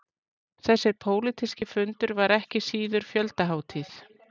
Þessi pólitíski fundur var ekki síður fjöldahátíð